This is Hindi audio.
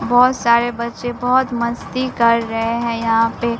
बोहोत सारे बच्चे बोहोत मस्ती कर रहे हैं यहां पे।